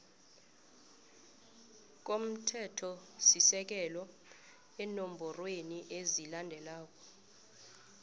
komthethosisekelo eenomborweni ezilandelako